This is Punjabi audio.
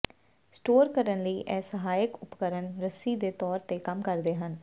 ਸਟੋਰ ਕਰਨ ਲਈ ਇਹ ਸਹਾਇਕ ਉਪਕਰਣ ਰੱਸੀ ਦੇ ਤੌਰ ਤੇ ਕੰਮ ਕਰਦੇ ਹਨ